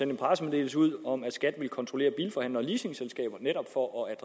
en pressemeddelelse ud om at skat ville kontrollere bilforhandlere og leasingselskaber netop for at